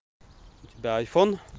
у тебя айфон